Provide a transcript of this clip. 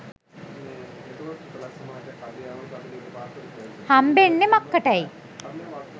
හම්බෙන්නෙ මක්කටැයි.